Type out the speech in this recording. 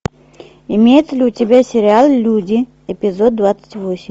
имеется ли у тебя сериал люди эпизод двадцать восемь